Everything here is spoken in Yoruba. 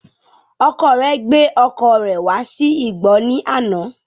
Ọkọ rẹ gbé ọkọ̀ rẹ̀ wá sí igbọ́ ní àná